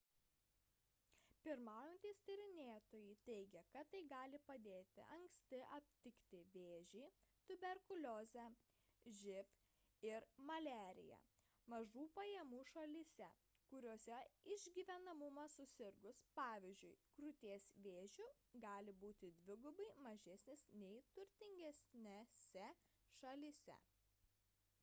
pirmaujantys tyrinėtojai teigia kad tai gali padėti anksti aptikti vėžį tuberkuliozę živ ir maliariją mažų pajamų šalyse kuriose išgyvenamumas susirgus pvz. krūties vėžiu gali būti dvigubai mažesnis nei turtingesnėse šalyse